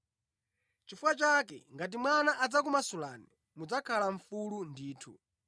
Nʼchifukwa chake ngati Mwana adzakumasulani, mudzakhala mfulu ndithu.